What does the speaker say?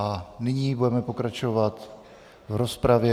A nyní budeme pokračovat v rozpravě.